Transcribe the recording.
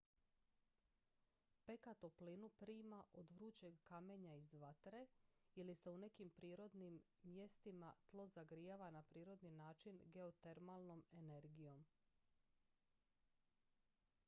peka toplinu prima od vrućeg kamenja iz vatre ili se u nekim mjestima tlo zagrijava na prirodni način geotermalnom energijom